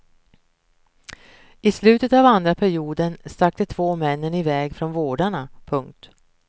I slutet av andra perioden stack de två männen iväg från vårdarna. punkt